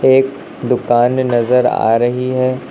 एक दुकान नजर आ रही है।